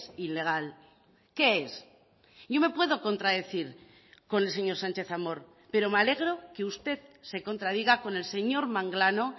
ilegal qué es yo me puedo contradecir con el señor sánchez amor pero me alegro que usted se contradiga con el señor manglano